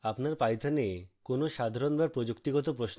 আপনার python এ কোন সাধারণ/প্রযুক্তিগত প্রশ্ন রয়েছে